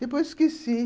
Depois esqueci.